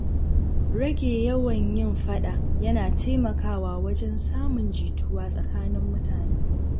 Rage yawan yin faɗa yana taimakawa wajen samun jituwa tsakanin mutane.